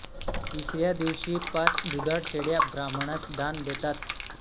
तिसऱ्या दिवशी पाच दुधाळ शेळ्या ब्राह्मणास दान देतात